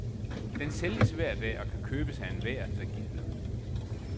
Den sælges hver dag, og kan købes af enhver, der gider.